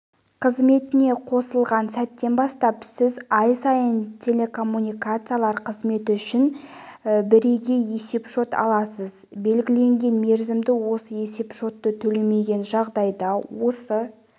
қызметіне қосылған сәттен бастап сіз ай сайын телекоммуникациялар қызметі үшін бірегей есепшот аласыз белгіленген мерзімде осы есепшотты төлемеген жағдайда осы